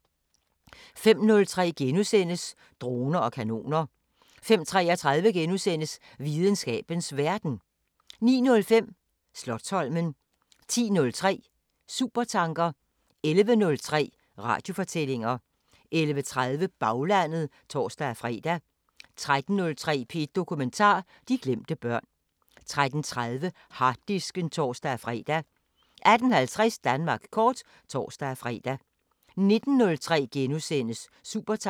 05:03: Droner og kanoner * 05:33: Videnskabens Verden * 09:05: Slotsholmen 10:03: Supertanker 11:03: Radiofortællinger 11:30: Baglandet (tor-fre) 13:03: P1 Dokumentar: De glemte børn 13:30: Harddisken (tor-fre) 18:50: Danmark kort (tor-fre) 19:03: Supertanker *